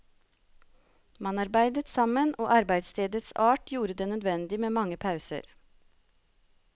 Man arbeidet sammen og arbeidsstedets art gjorde det nødvendig med mange pauser.